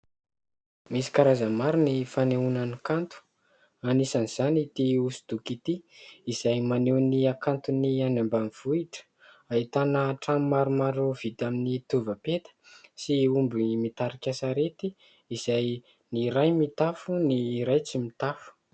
Misy karazany maro ny fanehoana ny kanto anisan' izany ity hosodoko ity. Izay maneho ny hakanton'ny any ambanivohitra, ahitana trano maromaro vita amin'ny tovapeta sy omby mitarika sarety, izay ny iray mitafo, ny iray tsy mitafo.